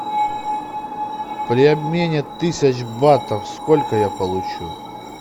при обмене тысяч батов сколько я получу